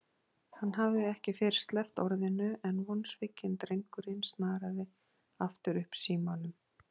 Hann hafði ekki fyrr sleppt orðinu en vonsvikinn drengurinn snaraði aftur upp símanum.